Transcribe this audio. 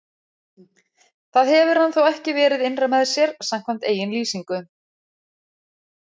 Það hefur hann þó ekki verið innra með sér, samkvæmt eigin lýsingu.